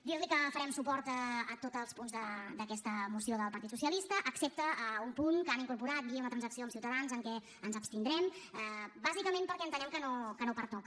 dir li que donarem suport a tots els punts d’aquesta moció del partit socialista excepte a un punt que han incorporat i a una transacció amb ciutadans en què ens abstindrem bàsicament perquè entenem que no pertoca